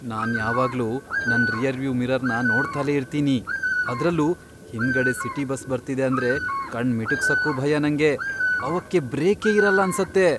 ನಾನ್ ಯಾವಾಗ್ಲೂ ನನ್ ರಿಯರ್ವ್ಯೂ ಮಿರರ್ನ ನೋಡ್ತಲೇ ಇರ್ತೀನಿ, ಅದ್ರಲ್ಲೂ ಹಿಂದ್ಗಡೆ ಸಿಟಿ ಬಸ್ ಬರ್ತಿದೆ ಅಂದ್ರೆ ಕಣ್ ಮಿಟುಕ್ಸಕ್ಕೂ ಭಯ ನಂಗೆ. ಅವಕ್ಕೆ ಬ್ರೇಕೇ ಇರಲ್ಲ ಅನ್ಸತ್ತೆ.